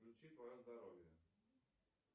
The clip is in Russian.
включи твое здоровье